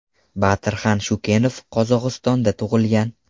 Batirxan Shukenov Qozog‘istonda tug‘ilgan.